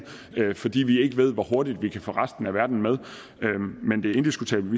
fordi vi ikke ved hvor hurtigt vi kan få resten af verden med men det er indiskutabelt